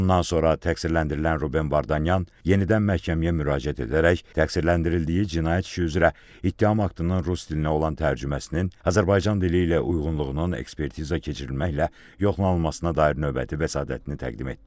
Bundan sonra təqsirləndirilən Ruben Vardanyan yenidən məhkəməyə müraciət edərək təqsirləndirildiyi cinayət işi üzrə ittiham aktının rus dilinə olan tərcüməsinin Azərbaycan dili ilə uyğunluğunun ekspertiza keçirilməklə yoxlanılmasına dair növbəti vəsatətini təqdim etdi.